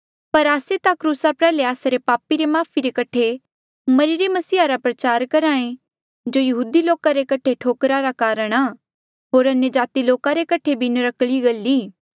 पर आस्से ता क्रूसा प्रयाल्हे आस्सा रे पापा री माफ़ी रे कठे मरिरे मसीहा रा प्रचार करहा ऐें जो यहूदी लोका रे कठे ठोकरा रा कारण आ होर अन्यजाति लोका रे कठे भी नर्क्कली गल ई